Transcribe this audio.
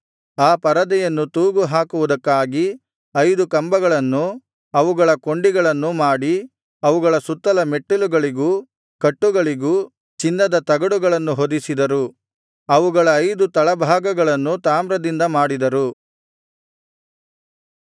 ಆ ಪರದೆಯನ್ನು ತೂಗು ಹಾಕುವುದಕ್ಕಾಗಿ ಐದು ಕಂಬಗಳನ್ನೂ ಅವುಗಳ ಕೊಂಡಿಗಳನ್ನೂ ಮಾಡಿ ಅವುಗಳ ಸುತ್ತಲ ಮೆಟ್ಟಿಲುಗಳಿಗೂ ಕಟ್ಟುಗಳಿಗೂ ಚಿನ್ನದ ತಗಡುಗಳನ್ನು ಹೊದಿಸಿದರು ಅವುಗಳ ಐದು ತಳಭಾಗಗಳನ್ನು ತಾಮ್ರದಿಂದ ಮಾಡಿದರು